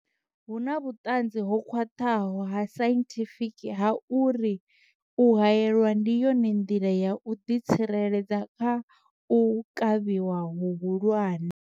Hu na vhuṱanzi ho khwaṱhaho ha sainthifiki ha uri u haelwa ndi yone nḓila ya u ḓi tsireledza kha u kavhiwa hu hulwane.